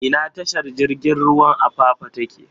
Ina tashar jirigin ruwan Apapa take?